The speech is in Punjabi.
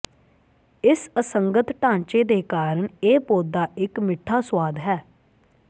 ਇਸ ਅਸੰਗਤ ਢਾਂਚੇ ਦੇ ਕਾਰਨ ਇਹ ਪੌਦਾ ਇੱਕ ਮਿੱਠਾ ਸੁਆਦ ਹੈ